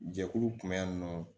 Jɛkulu kun bɛ yan nɔ